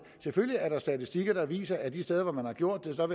selvfølgelig er der statistikker der viser at de steder man har gjort det